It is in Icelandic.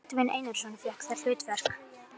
Baldvin Einarsson fékk það hlutverk.